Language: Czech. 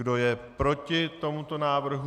Kdo je proti tomuto návrhu?